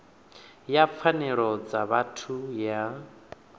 ya pfanelo dza vhathu ya